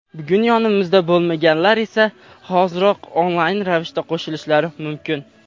Bugun yonimizda bo‘lmaganlar esa hoziroq onlayn ravishda qo‘shilishlari mumkin.